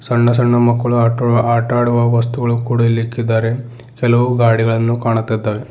ಸಣ್ಣ ಸಣ್ಣ ಮಕ್ಕಳು ಆಟೂ ಆಟ ಆಡುವ ವಸ್ತುಗಳು ಕೂಡ ಇಲ್ಲಿ ಇಕ್ಕಿದ್ದಾರೆ ಕೆಲವು ಗಾಡಿಗಳನ್ನು ಕಾಣುತ್ತಿದ್ದಾವೆ.